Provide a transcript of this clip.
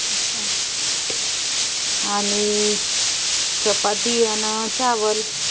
आणि चपाती अन चावलं